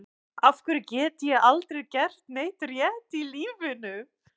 Af hverju get ég aldrei gert neitt rétt í lífinu?